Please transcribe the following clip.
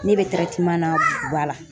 Ne bɛ na Buguba la.